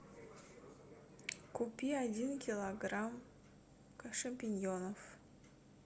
купи один килограмм шампиньонов